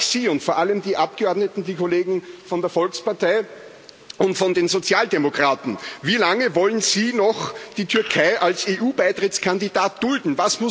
Daher frage ich Sie und vor allem die Abgeordneten, die Kollegen von der Volkspartei und von den Sozialdemokraten Wie lange wollen Sie noch die Türkei als EU Beitrittskandidat dulden?